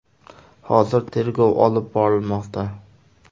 Hozir tergov olib borilmoqda.